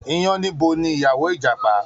Iyánníbo ni ìyàwó Ìjàpá